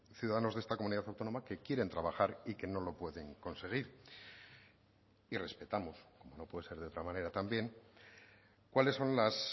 ciudadanos de esta comunidad autónoma que quieren trabajar y que no lo pueden conseguir y respetamos no puede ser de otra manera también cuáles son las